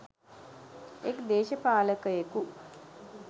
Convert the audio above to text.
එක් දේශපාලකයෙකු